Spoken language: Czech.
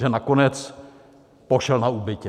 Že nakonec pošel na úbytě.